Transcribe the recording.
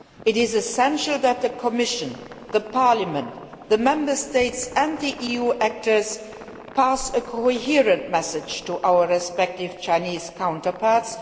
It is essential that the Commission, Parliament, the Member States, and the EU actors pass a coherent message to our respective Chinese counterparts.